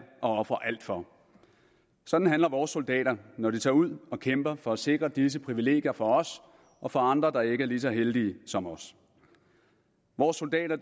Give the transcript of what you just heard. at ofre alt for sådan handler vores soldater når de tager ud og kæmper for at sikre disse privilegier for os og for andre der ikke er lige så heldige som os vores soldater